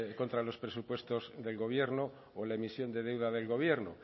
contra los presupuestos del gobierno o la emisión de deuda del gobierno